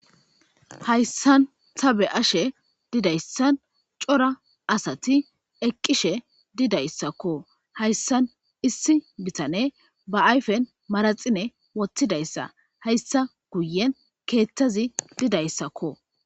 Hayssan ta be'ashe didayssan cora asati eqqishe didayssakko. Hayssan issi bitaney ba ayfen maraxine wottidayssa hayssa guyen keethtazi didayssakko.